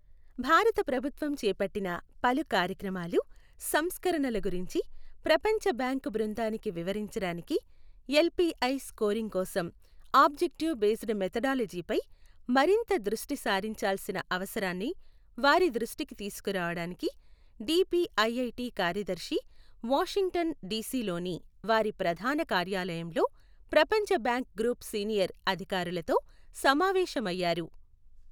భారత ప్రభుత్వం చేపట్టిన పలు కార్యక్రమాలు, సంస్కరణల గురించి ప్రపంచబ్యాంకు బృందానికి వివరించడానికి, ఎల్ పి ఐ స్కోరింగ్ కోసం ఆబ్జెక్టివ్ బేస్డ్ మెథడాలజీపై మరింత దృష్టి సారించాల్సిన అవసరాన్ని వారి దృష్టికి తీసుకురావడానికి, డిపిఐఐటి కార్యదర్శి వాషింగ్టన్ డిసిలోని వారి ప్రధాన కార్యాలయంలో ప్రపంచ బ్యాంక్ గ్రూప్ సీనియర్ అధికారులతో సమావేశమయ్యారు.